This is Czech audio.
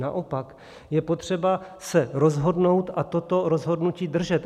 Naopak je potřeba se rozhodnout a toto rozhodnutí držet.